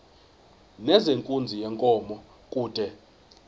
nezenkunzi yenkomo kude